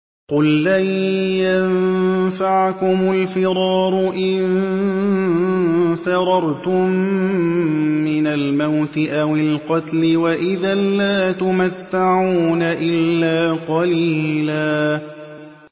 قُل لَّن يَنفَعَكُمُ الْفِرَارُ إِن فَرَرْتُم مِّنَ الْمَوْتِ أَوِ الْقَتْلِ وَإِذًا لَّا تُمَتَّعُونَ إِلَّا قَلِيلًا